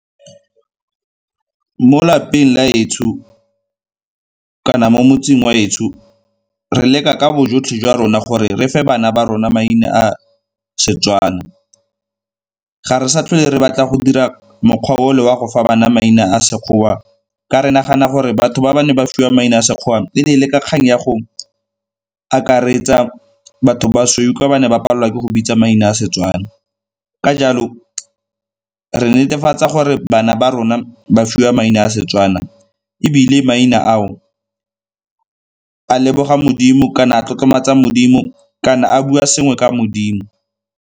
Mo lapeng la 'etsho kana mo motseng wa 'etsho re leka ka bojotlhe jwa rona gore re fe bana ba rona maina a Setswana. Ga re sa tlhole re batla go dira mokgwa o le wa go fa bana maina a Sekgowa ka re nagana gore batho ba ba neng ba fiwa maina a Sekgowa e ne e le ka kgang ya go akaretsa batho basweu ka ba ne ba palelwa ke go bitsa maina a Setswana. Ka jalo re netefatsa gore bana ba rona ba fiwa maina a Setswana ebile maina ao a leboga Modimo kana a tlotlomatsa Modimo kana a bua sengwe ka Modimo.